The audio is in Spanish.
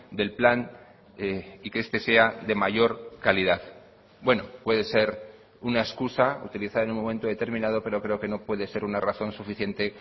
del plan y que este sea de mayor calidad bueno puede ser una excusa utilizada en un momento determinado pero creo que no puede ser una razón suficiente